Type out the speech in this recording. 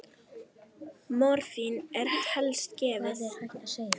Morfín er helst gefið